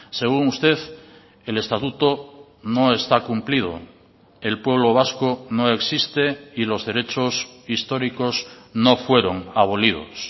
según usted el estatuto no está cumplido el pueblo vasco no existe y los derechos históricos no fueron abolidos